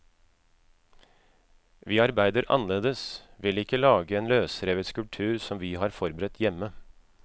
Vi arbeider annerledes, vil ikke lage en løsrevet skulptur som vi har forberedt hjemme.